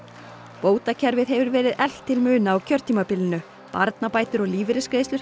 bótakerfið hefur verið eflt til muna á kjörtímabilinu barnabætur og lífeyrisbætur